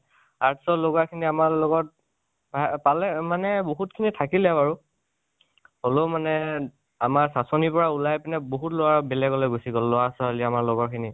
arts লগোৱা খিনি আমাৰ লগত পা পালে আৰু মানে বহুত খিনি থাকিলে বাৰু, হ'লৈ মানে আমাৰ সাচনি পৰা ওলাই পিনি বহুত লৰা বেলেগকৈ গুছি গল, লৰা ছোৱালী আমাৰ লগৰ খিনি